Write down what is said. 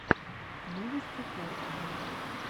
новости харькова